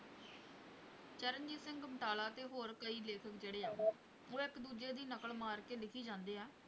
ਚਰਨਜੀਤ ਸਿੰਘ ਗੁਮਟਾਲਾ ਤੇ ਹੋਰ ਕਈ ਲੇਖਕ ਜਿਹੜੇ ਆ ਉਹ ਇੱਕ ਦੂਜੇ ਦੀ ਨਕਲ ਮਾਰ ਕੇ ਲਿੱਖੀ ਜਾਂਦੇ ਆ